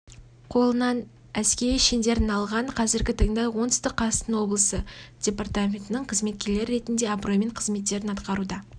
қолынан әскери шеңдерін алған қазіргі таңда оңтүстік қазақстан облысы департаментінің қызметкерлері ретінде абыроймен қызметтерін атқаруда